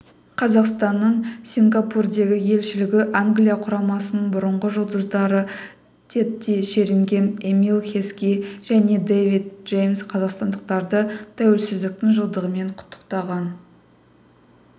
қазақстанның сингапурдегі елшілігі англия құрамасының бұрынғы жұлдыздарытедди шерингем эмил хески жәнедэвид джеймс қазақстандықтарды тәуелсіздіктің жылдығымен құтықтаған